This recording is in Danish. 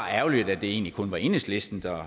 ærgerligt at det egentlig kun var enhedslisten der